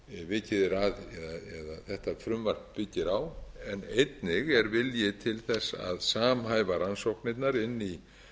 sem þetta frumvarp byggir á en einnig er vilji til að samhæfa rannsóknirnar inn í